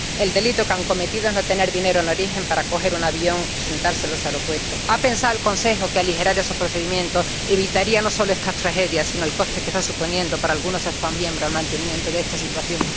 El delito que han cometido es no tener dinero en origen para coger un avión y presentarse en los aeropuertos. ¿Ha pensado el Consejo que aligerar esos procedimientos evitaría no solo estas tragedias, sino el coste que está suponiendo para algunos Estados miembros el mantenimiento de esta situación?